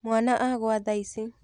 Mwana agũa thaici.